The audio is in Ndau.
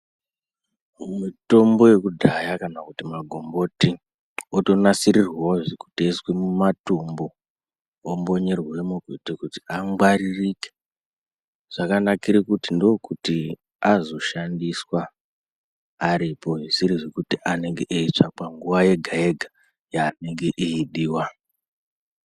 Mitombo yakudhaya kana kuti magomboti, otonasirirwavozve kuti iiswe mumatumbu, ombonyerwemo kuitire kuti angwaririke. Zvakanakire kuti ndokuti azoshandiswa aripo zvisiri zvekuti anenge eitsva panguva yega-yega yaanenge eidiva.